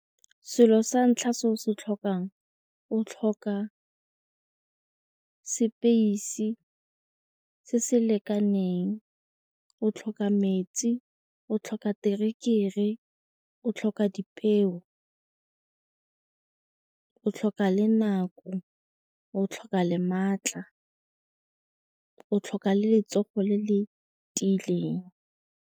Selo sa ntlha se o se tlhokang o tlhoka space se se lekaneng, o tlhoka metsi, o tlhoka terekere, o tlhoka dipeo, o tlhoka le nako o tlhoka le maatla o tlhoka letsogo le le tiileng.